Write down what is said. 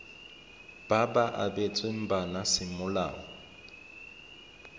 ba ba abetsweng bana semolao